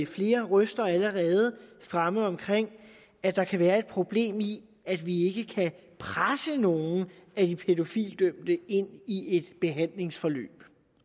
flere røster fremme om at der kan være et problem i at vi ikke kan presse nogen af de pædofilidømte ind i et behandlingsforløb